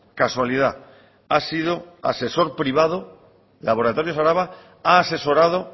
casualidad ha sido asesor privado laboratorios araba ha asesorado